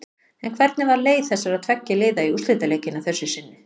En hvernig var leið þessara tveggja liða í úrslitaleikinn að þessu sinni?